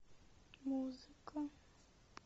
музыка